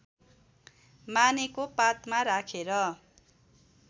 मानेको पातमा राखेर